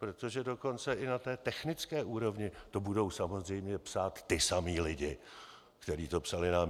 Protože dokonce i na té technické úrovni to budou samozřejmě psát ti samí lidé, kteří to psali nám.